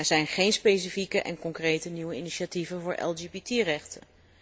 Er zijn geen specifieke en concrete nieuwe initiatieven voor LGBT rechten.